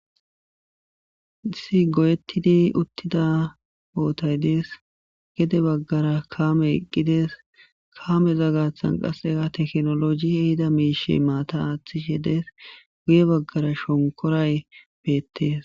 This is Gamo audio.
Si goyettidi uttida ootay dees gede baggara kaame eqqides kaameza gaththan qasseka teknoloji hehida miishi maata aaththishedes guye baggara shonkoray beettees